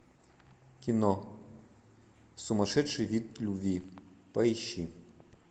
кино сумасшедший вид любви поищи